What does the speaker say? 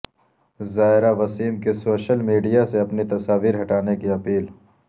زائرہ وسیم کی social media سے اپنی تصاویر ہٹانے کی اپیل